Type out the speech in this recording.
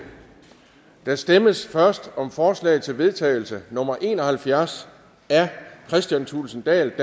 der stemmes først om forslag til vedtagelse nummer v en og halvfjerds af kristian thulesen dahl